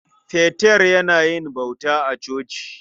Peter yana yin bauta a coci.